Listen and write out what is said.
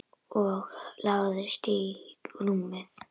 Og lagðist í rúmið.